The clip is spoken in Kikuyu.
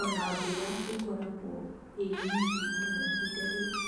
ona mbura ĩkoragwo ĩnyinyi mũno ihinda rĩrĩ.